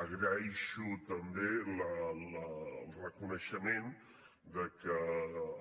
agraeixo també el reconeixement que